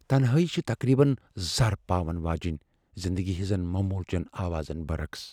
تنہٲئی چھےٚ تقریباً زر پاون واجِیٚنۍ ، زِندگی ہنزن مومول چین آوازن برعقس۔